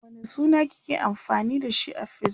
wane suna kike amfani da shi a Facebook?